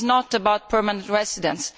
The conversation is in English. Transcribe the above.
It is not about permanent residence.